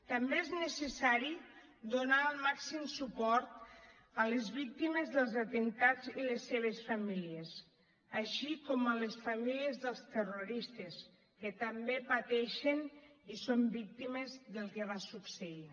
també és necessari donar el màxim suport a les víctimes dels atemptats i les seves famílies així com a les famílies dels terroristes que també pateixen i són víctimes del que va succeir